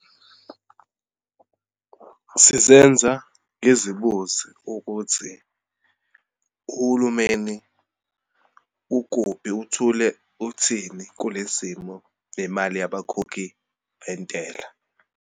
Sizenza ngizibuze ukuthi uhulumeni ukuphi, uthule uthini kule simo nemali yabakhokhi bentela.